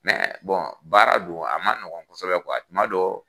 baara do a man ɲɔgɔn kɔsɔbɛ tuma dɔ